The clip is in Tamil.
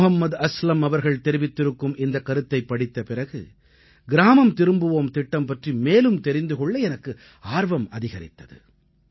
முஹம்மது அஸ்லம் அவர்கள் தெரிவித்திருக்கும் இந்தக் கருத்தைப் படித்த பிறகு கிராமம் திரும்புவோம் திட்டம் பற்றி மேலும் தெரிந்து கொள்ள எனக்கு ஆர்வம் அதிகரித்தது